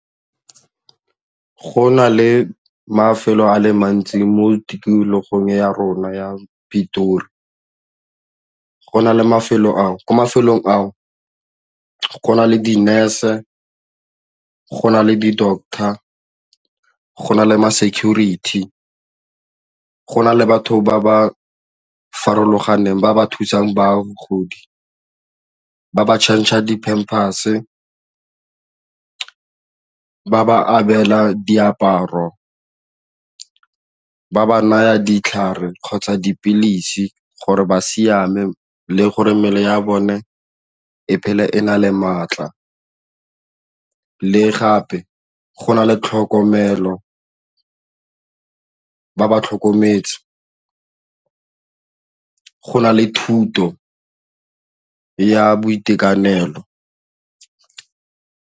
Go na le mafelo a le mantsi mo tikologong ya rona ya Pitori, go na le mafelo a ko mafelong ao go na le di-nurse, go na le di-doctor, go na le ma-security, go na le batho ba ba farologaneng ba ba thusang bagodi ba ba change-a di-pampers-e, di abela diaparo ba naya ditlhare kgotsa dipilisi gore ba siame le gore mmele ya bone e phele e na le maatla le gape go na le tlhokomelo ba ba tlhokometse go na le thuto ya boitekanelo.